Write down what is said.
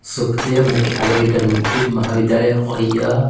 सुखदेव मुख्यालय इंटरमीडिएट महाविद्यालय और यह--